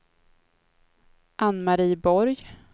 Ann-Marie Borg